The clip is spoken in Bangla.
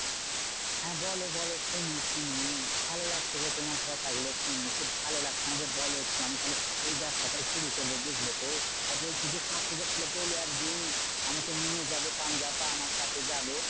হ্যাঁ বলো বলো শুনি শুনি। ভালো লাগছে গো তোমার কথাগুলো শুনে খুব ভালো লাগছে। আমাকে বোলো একটু আমি তাহলে ওই ব্যাবসাটাই শুরু করবো, বুঝলে তো? আর বলছি যে, কাকুকে তাহলে বোলো একদিন আমাকে নিয়ে যাবে পাঞ্জাব। আমার সাথে যাবে।